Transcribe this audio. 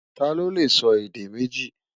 tá ló lẹ sọ èdè méjì?